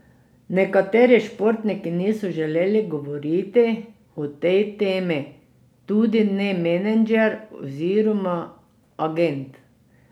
Nekateri športniki niso želeli govoriti o tej temi, tudi ne menedžer oziroma agent.